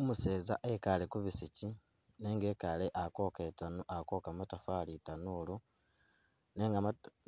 Umuseza ekale kubisiki nenga ekale akoka itanu- akwoka matafali itanuulu nenga